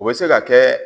O bɛ se ka kɛ